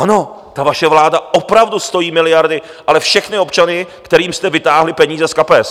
Ano, ta vaše vláda opravdu stojí miliardy, ale všechny občany, kterým jste vytáhli peníze z kapes.